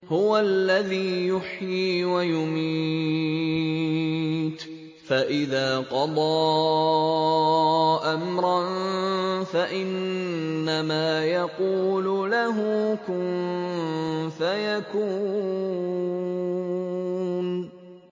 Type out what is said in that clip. هُوَ الَّذِي يُحْيِي وَيُمِيتُ ۖ فَإِذَا قَضَىٰ أَمْرًا فَإِنَّمَا يَقُولُ لَهُ كُن فَيَكُونُ